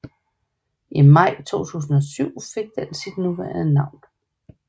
I maj 2007 fik det sit nuværende navn